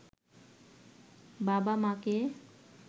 বাবা-মাকে